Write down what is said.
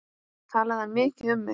Talaði hann mikið um mig?